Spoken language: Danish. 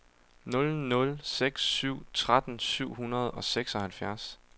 nul nul seks syv tretten syv hundrede og seksoghalvfjerds